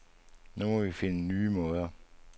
Nu må vi finde nye måder.